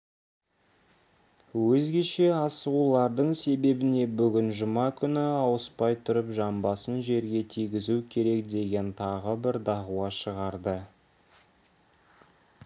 өзгеше асығуларының себебіне бүгін жұма күні ауыспай тұрып жамбасын жерге тигізу керек деген тағы бір дағуа шығарды